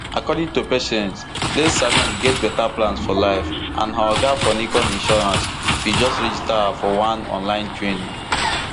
according to patience late salome get beta plans for life and her oga for nicon insurance bin just register her for one online training